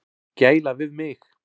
Gæla við mig.